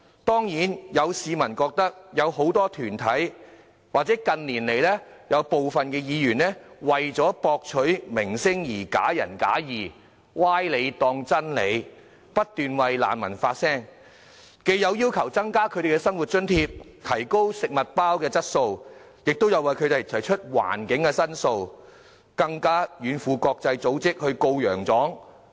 當然，有市民覺得有很多團體，或近年來有部分議員為了博取名聲而假仁假義，將歪理當真理，不斷為難民發聲，既有要求增加他們的生活津貼、提高食物包質素，亦有為他們提出居住環境的申訴，更向國際組織"告洋狀"。